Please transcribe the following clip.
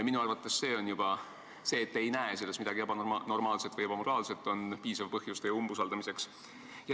Minu arvates juba see, et te ei näe selles midagi ebanormaalset või ebamoraalset, on piisav põhjus teie umbusaldamiseks.